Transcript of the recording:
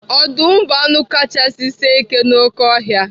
Ọdụm bụ anụ kachasị sie ike n'oké ọhịa.